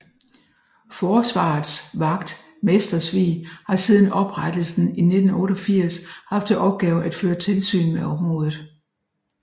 Forsvarets Vagt Mestersvig har siden oprettelsen i 1988 haft til opgave at føre tilsyn med området